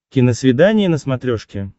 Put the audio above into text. киносвидание на смотрешке